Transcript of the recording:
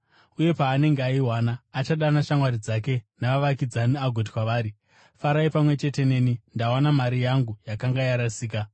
Uye paanenge aiwana, achadana shamwari dzake navavakidzani agoti kwavari, ‘Farai pamwe chete neni, ndawana mari yangu yakanga yarasika.’